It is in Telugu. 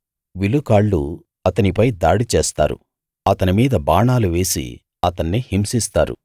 విలుకాళ్ళు అతనీపై దాడి చేస్తారు అతని మీద బాణాలు వేసి అతన్ని హింసిస్తారు